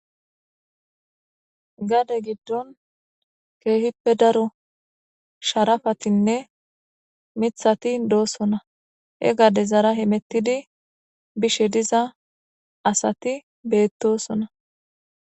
Gade giddon keehippe daro sharafatinne mithati doosona e gade zara himettidi bishe diza asati beettosona.